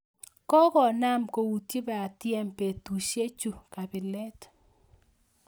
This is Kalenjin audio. Kokonam koutwi batiem betusiek chu kabilet